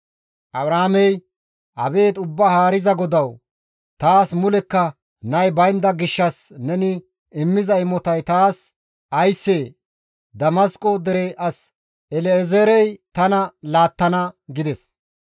Abraamey, «Abeet Ubbaa Haariza GODAWU! Taas mulekka nay baynda gishshas neni immiza imotay taas ayssee? Damasqo dere as El7ezeerey tana laattana» gides.